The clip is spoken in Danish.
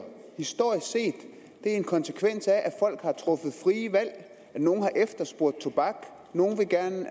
historisk set en konsekvens af at folk har truffet frie valg nogle har efterspurgt tobak nogle har gerne